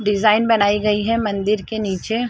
Design बनाई गई है मंदिर के नीचे।